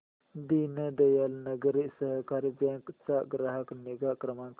दीनदयाल नागरी सहकारी बँक चा ग्राहक निगा क्रमांक